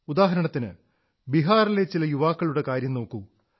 ഉദാഹരണത്തിന് ബിഹാറിലെ ചില യുവാക്കളുടെ കാര്യം നോക്കൂ